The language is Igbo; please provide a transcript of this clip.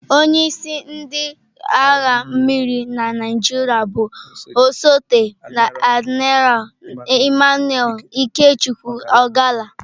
Onye isi ndị agha mmiri na Naịjirịa bụ osote Admiral Emmanuel Ikechukwu Ogalla.